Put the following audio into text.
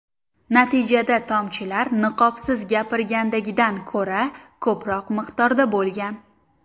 Natijada tomchilar niqobsiz gapirgandagidan ko‘ra ko‘proq miqdorda bo‘lgan.